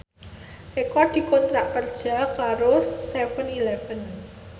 Eko dikontrak kerja karo seven eleven